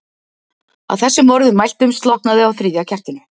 Að þessum orðum mæltum slokknaði á þriðja kertinu.